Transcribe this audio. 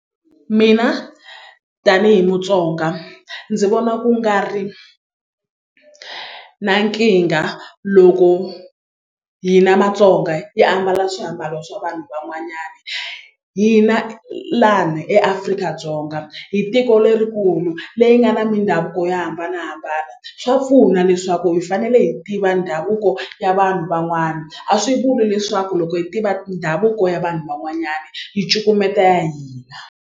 Mina tanihi Mutsonga ndzi vona ku nga ri na nkingha loko hina Matsonga yi ambala swiambalo swa vanhu van'wanyana hina lani eAfrika-Dzonga hi tiko lerikulu leyi nga na mindhavuko yo hambanahambana swa pfuna leswaku hi fanele hi tiva ndhavuko ya vanhu van'wana a swi vuli leswaku loko hi tiva ndhavuko ya vanhu van'wanyana hi cukumeta ya hina.